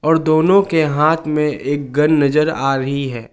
दोनों के हाथ में एक गन नजर आ रही है।